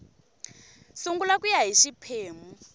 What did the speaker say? sungula ku ya hi xiphemu